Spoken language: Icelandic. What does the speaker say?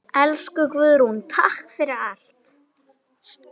Elsku Guðrún, takk fyrir allt.